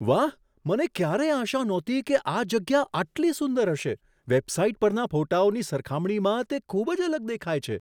વાહ! મને ક્યારેય આશા નહોતી કે આ જગ્યા આટલી સુંદર હશે. વેબસાઈટ પરના ફોટાઓની સરખામણીમાં તે ખૂબ જ અલગ દેખાય છે.